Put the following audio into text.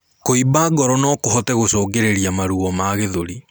Kuimba ngoro nokuhote gũcũngĩrĩrĩa maruo ma gĩthũri